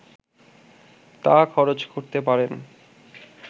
তা খরচ করতে পারেন